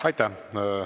Aitäh!